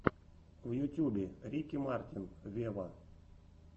в ютюбе рики мартин вево